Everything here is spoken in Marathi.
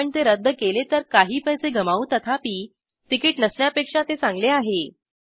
आपण ते रद्द केले तर काही पैसे गमावू तथापि तिकीट नसण्यापेक्षा ते चांगले आहे